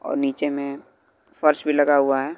और नीचे में फर्श भी लगा हुआ है।